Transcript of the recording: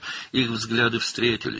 Onların baxışları görüşdü.